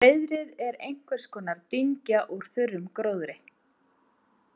Hreiðrið er einhvers konar dyngja úr þurrum gróðri.